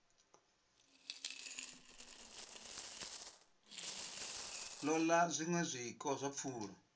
ṱoḓa zwiṅwe zwiko zwa pfulo